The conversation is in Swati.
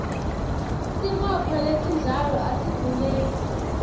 sibopho lesinjalo asidzingeki